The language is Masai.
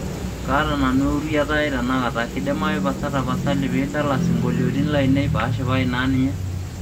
kaata nanu uwuriata ai tenakata kidimayu pasa tapasali piidala isingolioni lainei paashipayu naa ninye